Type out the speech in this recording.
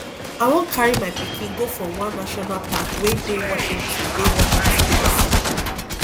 i wan carry my pikin go for one national park wey dey washington dey washington dc